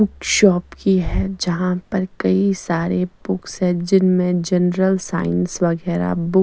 एक शॉप की है जहाँ पे कई सारे पुक्स है जिनमे जनरल साइंस वगेरा बु--